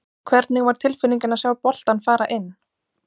Hvernig var tilfinningin að sjá boltann fara inn?